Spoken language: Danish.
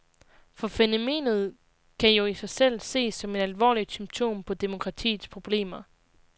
For fænomenet kan jo i sig selv ses som et alvorligt symptom på demokratiets problemer.